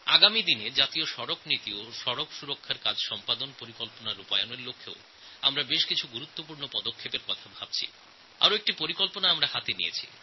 আগামী দিনে জাতীয় পথ নিরাপত্তা নীতি আর রোড সেফটি অ্যাকশন প্ল্যানএর প্রয়োগ করার লক্ষে আমি কিছু গুরুত্বপূর্ণ পদক্ষেপ নেওয়ার ব্যাপারে ভাবনাচিন্তা করছি